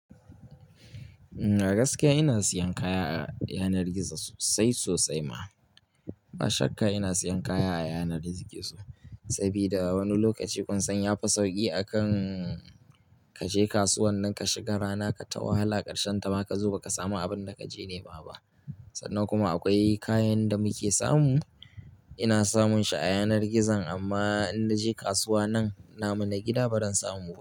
Gaskiya ina siyan kaya a yanar gizo sosai sosai ma. A shakka ina siyan kaya a yanar gizo, sabida wani lokaci kun san ya fi sauƙi akan kaje kasuwan nan ka shiga rana ka ta wahala ƙarshen ta ma ka zo ba ka samu abin da kaje nema ba. Sannan kuma akwai kayan da muke samu ina samun shi a yanar gizan amma in naje kasuwa nan namu na gida ba ran samu ba.